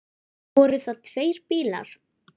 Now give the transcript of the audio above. Voru það tveir bílar.